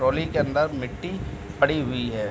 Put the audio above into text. Trolley के अन्दर मिट्टी पड़ी हुई है।